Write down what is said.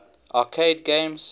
arcade games